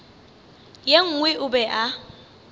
ye nngwe o be a